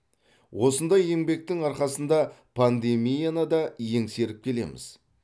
осындай еңбектің арқасында пандемияны да еңсеріп келеміз